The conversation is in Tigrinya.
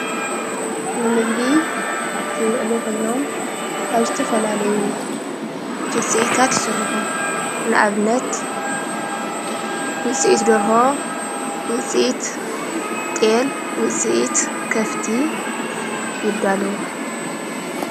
ንምግቢ ዝውዕሉ ኾይኖም ካብ ዝተ ፈላለዩ ውፂእታት ይስርሑ ንኣብነት ዉፂትደርሆ ውፂት ጠል ውፂት ከፍቲ ይዳለዉ።